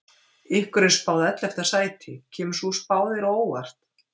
Ykkur er spáð ellefta sæti, kemur sú spá þér á óvart?